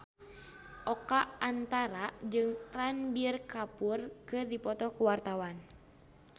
Oka Antara jeung Ranbir Kapoor keur dipoto ku wartawan